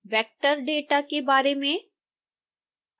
vector data के बार में